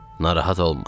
Narahat olma.